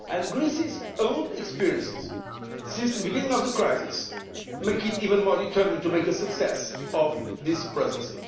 Greece's own experiences since the beginning of the crisis make it even more determined to make a success of this Presidency.